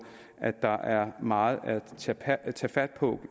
at der er meget at tage fat på